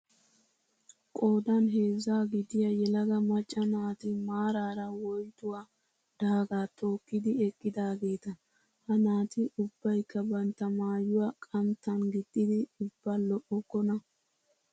Qoodan heezza gidiyaa yelaga macca naati maaraara woyotuwaa daagaa tokkidi eqqidaageeta. Ha naati ubbayikka bantta maayyuwaa qanttan gixxidi ubba lo'okkona.